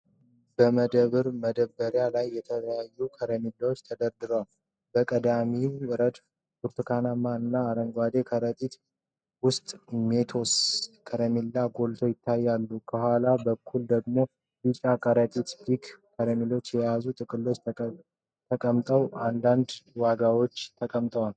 በመደብር መደርደሪያዎች ላይ የተለያዩ ከረሜላዎች ተደርድረዋል። በቀድሚው ረድፍ ብርቱካናማ እና አረንጓዴ ከረጢቶች ውስጥ ሜንቶስ (Mentos) ከረሜላዎች ጎልተው ይታያሉ። ከኋላ በኩል ደግሞ ቢጫ ከረጢቶች የፒክ (Pick) ከረሜላዎችን የያዙ ጥቅሎች ተቀምጠዋል፤ አንዳንድ ዋጋዎችም ተቀምጠዋል።